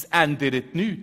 Es ändert sich nichts.